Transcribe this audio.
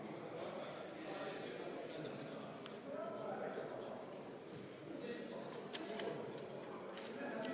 Palun Vabariigi Valimiskomisjonil lugeda hääled üle ka avalikult!